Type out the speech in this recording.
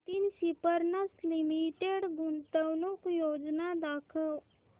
Nitin spinners limited गुंतवणूक योजना दाखव